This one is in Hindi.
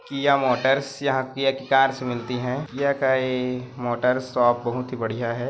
किया मोटर्स यहाँ किया की कार्स भी मिलती है किया के मोटर्स शॉप बहुत ही बढ़िया है।